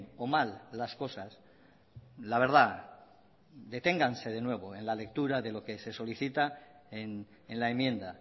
o mal las cosas la verdad deténganse de nuevo en la lectura de lo que se solicita en la enmienda